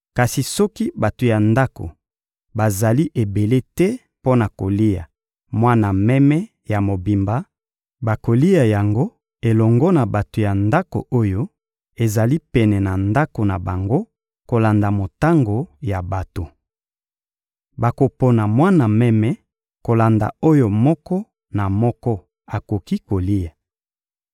Kasi soki bato ya ndako bazali ebele te mpo na kolia mwana meme ya mobimba, bakolia yango elongo na bato ya ndako oyo ezali pene na ndako na bango kolanda motango ya bato. Bakopona mwana meme kolanda oyo moko na moko akoki kolia.